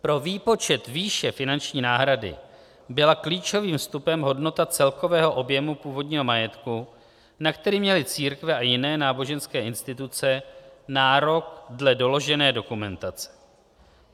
Pro výpočet výše finanční náhrady byla klíčovým vstupem hodnota celkového objemu původního majetku, na který měly církve a jiné náboženské instituce nárok dle doložené dokumentace.